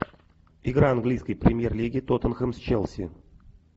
игра английской премьер лиги тоттенхэм с челси